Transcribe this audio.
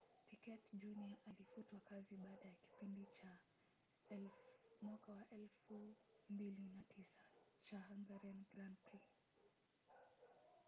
piquet jr. alifutwa kazi baada ya kipindi cha 2009 cha hungarian grand prix